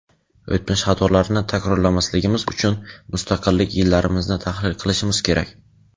o‘tmish xatolarini takrorlamasligimiz uchun mustaqillik yillarimizni tahlil qilishimiz kerak.